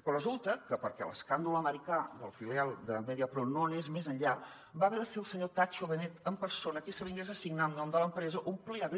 però resulta que perquè l’escàndol americà de la filial de mediapro no anés més enllà va haver de ser el senyor tatxo benet en persona qui s’avingués a signar en nom de l’empresa un plea